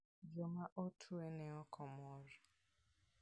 Joma otwe ne ok mor.